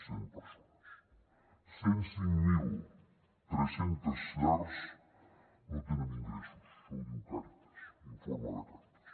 cent persones cent i cinc mil tres cents llars no tenen ingressos això ho diu càritas informe de càritas